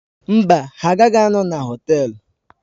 Mba, ha agaghị anọ na họtel.